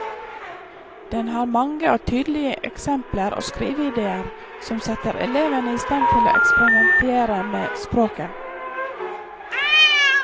Den har mange og tydelige eksempler og skriveidéer som setter elevene i stand til å eksperimentere med språket.